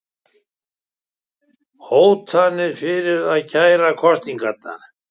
Hótað fyrir að kæra kosninguna